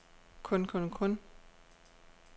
kun kun kun